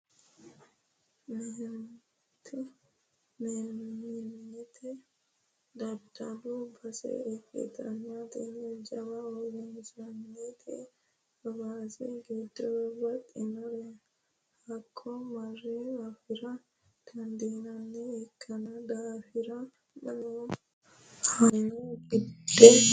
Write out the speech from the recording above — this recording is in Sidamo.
Meemnet daddalu base ikkittanna tini jawa uurrinshati hawaasi giddo babbaxxinoreno hakko mare affira dandiinanniha ikkino daafira mannu hamatu hasirano gede macciishshinanni tene uurrinsha.